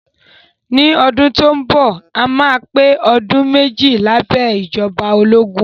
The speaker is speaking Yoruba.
Ní ọdún tó ń bọ̀, a máa pé ọdún méjì lábẹ́ ìjọba ológun